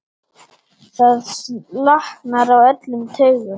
Það slaknar á öllum taugum.